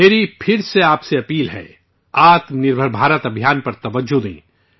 میری پھر سے آپ سے اپیل ہے آتم نربھر بھارت مہم پر زور دیں